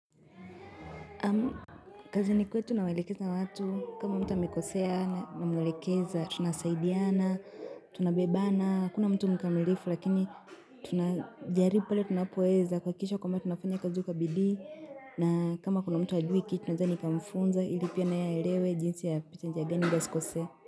Kazi ni kwetu nawalekeza watu, kama mtu amikosea na mwelekeza, tunasaidiana, tunabebana, kuna mtu mkamilifu lakini tunajaribu tunapoeza kwa kisha kwa mtu nafanya kazi u kabidi, na kama kuna mtu ajuhiki tunazani kamfunza ili pia naya elewe jinsi ya pita njia gani asikosea.